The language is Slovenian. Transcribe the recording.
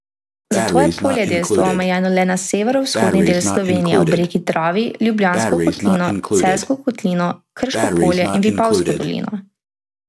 Zato je poljedelstvo omejeno le na severovzhodni del Slovenije ob reki Dravi, Ljubljansko kotlino, Celjsko kotlino, Krško polje in Vipavsko dolino.